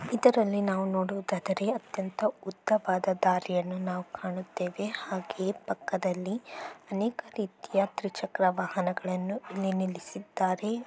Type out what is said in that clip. ಇದರಲ್ಲಿ ನಾವು ನೋಡುವುದಾದರೆ ಅತ್ಯಂತ ಉದ್ದವಾದ ದಾರಿಯನ್ನು ನಾವು ಕಾಣುತ್ತೇವೆ ಹಾಗೆ ಪಕ್ಕದಲ್ಲಿ ಅನೇಕ ರೀತಿಯ ದ್ವಿಚಕ್ರ ವಾಹನಗಳನ್ನು ಇಲ್ಲಿ ನಿಲ್ಲಿಸಿದ್ದಾರೆ.